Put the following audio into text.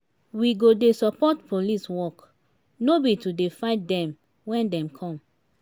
we go dey support police work no be to dey fight dem wen dem come.